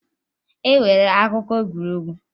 E nwere akụkọ egwuregwu